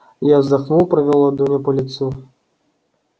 я вздохнул провёл ладонью по лицу